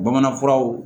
Bamanan furaw